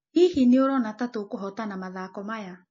Hihi nĩũrona ta tũkũhotana mathako maya?